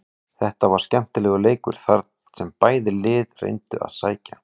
Þetta var skemmtilegur leikur þar sem bæði lið reyndu að sækja.